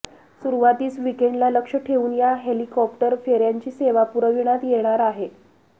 सुरुवातीस वीकेंडला लक्ष्य ठेवून या हेलिकॉप्टर फेऱ्यांची सेवा पुरविण्यात येणार आहे